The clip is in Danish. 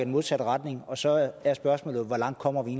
modsatte retning og så er spørgsmålet hvor langt kommer vi